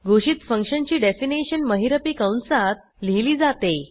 घोषित फंक्शनची डेफिनीशन महिरपी कंसात लिहिली जाते